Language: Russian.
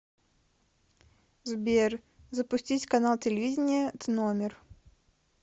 сбер запустить канал телевидения тномер